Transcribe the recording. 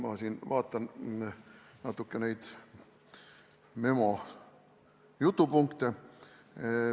Ma siin vaatan natuke neid memo jutupunkte.